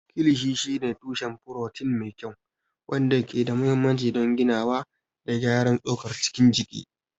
Kilishi shine tushen furotin mai kyau, wanda ke da mahimmanci don ginawa da gyaran tsokar cikin jiki.